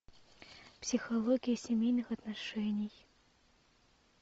психология семейных отношений